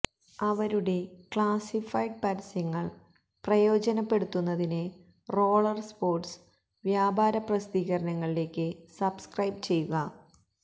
അവരുടെ ക്ലാസിഫൈഡ് പരസ്യങ്ങൾ പ്രയോജനപ്പെടുത്തുന്നതിന് റോളർ സ്പോർട്സ് വ്യാപാര പ്രസിദ്ധീകരണങ്ങളിലേക്ക് സബ്സ്ക്രൈബ് ചെയ്യുക